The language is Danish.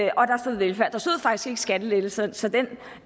velfærd der stod faktisk ikke skattelettelser så det